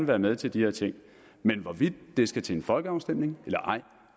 være med til de her ting men hvorvidt det skal til folkeafstemning eller ej